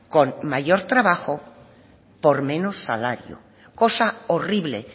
con mayor trabajo por menos salario cosa horrible